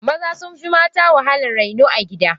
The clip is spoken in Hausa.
Maza sunfi mata wahalan raino a gida.